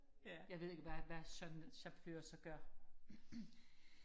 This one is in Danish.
jeg ved ikke hvad hvad sådan en chauffør så gør